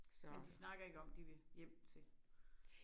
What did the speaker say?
Men de snakker ikke om de vil hjem til